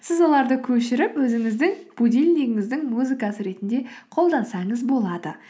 сіз оларды көшіріп өзіңіздің будильнигіңіздің музыкасы ретінде қолдансаңыз болады